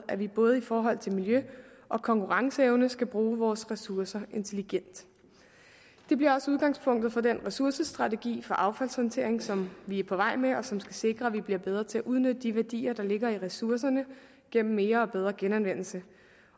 at vi både i forhold til miljø og konkurrenceevne skal bruge vores ressourcer intelligent det bliver også udgangspunktet for den ressourcestrategi for affaldssortering som vi er på vej med og som skal sikre at man bliver bedre til at udnytte de værdier der ligger i ressourcerne gennem mere og bedre genanvendelse